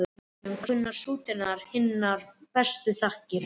Þessum mönnum kunna stúdentar hinar bestu þakkir.